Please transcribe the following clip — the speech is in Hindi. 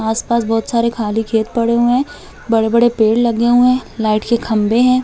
आस-पास बहुत सारे खाली खेत पड़े हुए हैं बड़े - बड़े पेड़ लगे हुए हैं लाइट के खंबे है।